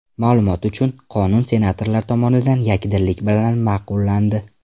Ma’lumot uchun, qonun senatorlar tomonidan yakdillik bilan ma’qullandi .